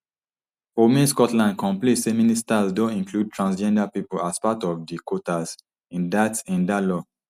for women scotland complain say ministers don include transgender pipo as part of di quotas in dat in dat law